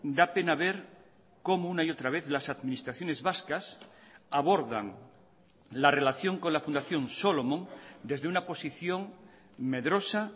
da pena ver cómo una y otra vez las administraciones vascas abordan la relación con la fundación solomon desde una posición medrosa